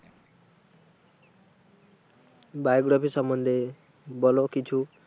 Biography সম্মন্ধে বলো কিছু।